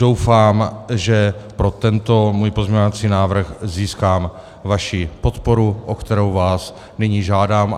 Doufám, že pro tento svůj pozměňovací návrh získám vaši podporu, o kterou vás nyní žádám.